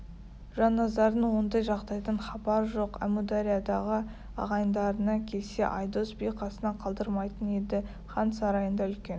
жанназардың ондай жағдайдан хабары жоқ әмудариядағы ағайындарына келсе айдос би қасынан қалдырмайтын еді хан сарайында үлкен